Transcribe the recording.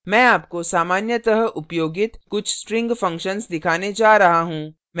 मैं आपको सामान्यतः उपयोगित कुछ string functions दिखाने जा रहा हूँ